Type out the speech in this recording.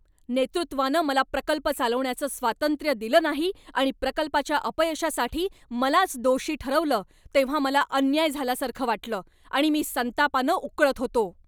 नेतृत्वानं मला प्रकल्प चालवण्याचं स्वातंत्र्य दिलं नाही आणि प्रकल्पाच्या अपयशासाठी मलाच दोषी ठरवलं तेव्हा मला अन्याय झाल्यासारखं वाटलं आणि मी संतापानं उकळत होतो.